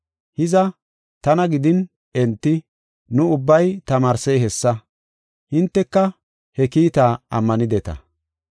Hiza, tana gidin enti, nu ubbay tamaarsey hessa; hinteka he kiitaa ammanideta.